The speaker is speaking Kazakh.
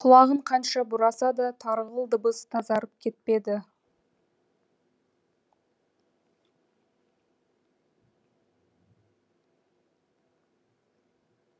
құлағын қанша бұраса да тарғыл дыбыс тазарып кетпеді